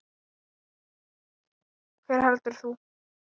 Hver heldur þú?